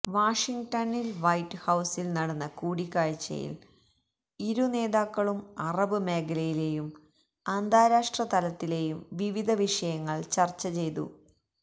വാഷിങ്ടണിൽ white ഹൌസിൽ നടന്ന കൂടിക്കാഴ്ചയിൽ ഇരു നേതാക്കളും അറബ് മേഖലയിലെയും അന്താരാഷ്ട്ര തലത്തിലെയും വിവിധ വിഷയങ്ങൾ ചർച്ച ചെയ്തു